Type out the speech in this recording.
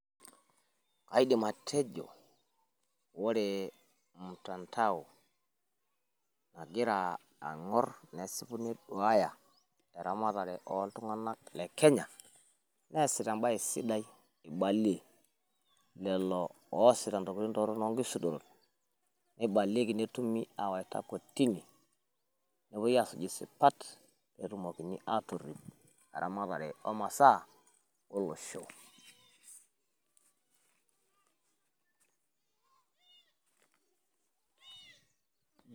Aidim atejo ore ol mtandao egira aing'or nesipu neduaya eramatare oo iltung'anak le Kenya. Neasita embae sidai ibalie lelo oasita ntokitin torrok too nkisudorot. Neibalieki netumi aawaita kotini nepuoi aasuj isipat pee etumokini aatorrip eramatare o masaa olosho.